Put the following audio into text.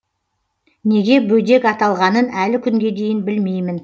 неге бөдек аталғанын әлі күнге дейін білмеймін